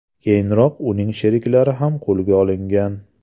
Keyinroq uning sheriklari ham qo‘lga olingan.